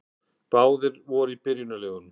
Báðir voru í byrjunarliðum.